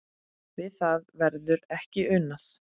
Við það verði ekki unað.